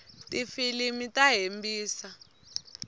tifilimu ta hembisa